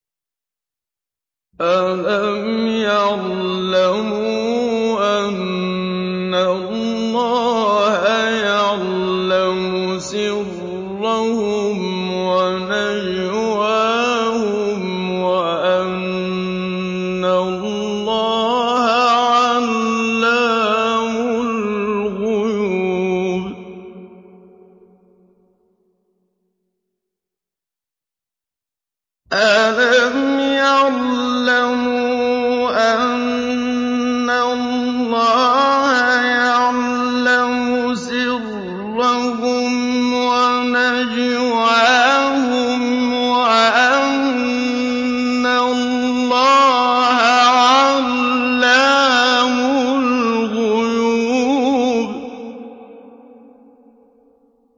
أَلَمْ يَعْلَمُوا أَنَّ اللَّهَ يَعْلَمُ سِرَّهُمْ وَنَجْوَاهُمْ وَأَنَّ اللَّهَ عَلَّامُ الْغُيُوبِ